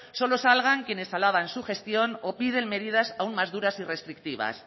solo salgan quienes alaban su gestión o piden medidas aún más duras y restrictivas